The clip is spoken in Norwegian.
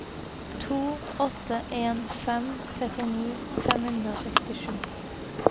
to åtte en fem trettini fem hundre og sekstisju